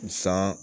San